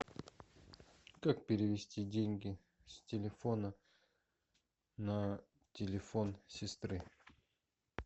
как перевести деньги с телефона на телефон сестры